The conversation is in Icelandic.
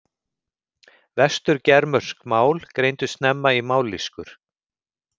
Vestur-germönsk mál greindust snemma í mállýskur.